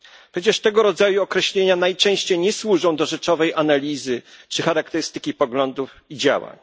Przecież tego rodzaju określenia najczęściej nie służą do rzeczowej analizy czy charakterystyki poglądów i działań.